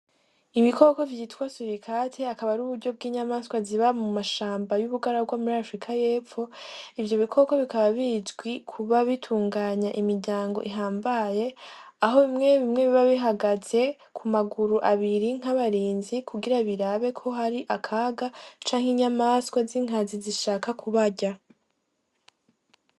Ibikoko vyitwa surikati akaba aruburyo bw'inyamaswa ziba mu mashamba y'ubugaragwa murima Afurika y'epfo ivyo bikoko bikaba bizwi kuba bitunganya imiryango ihambaye aho bimwe bimwe biba bihagaze ku maguru abiri nk'abarinzi kugira birabe ko hari akaga canke inyamaswa z'inkazi zishaka kubarya.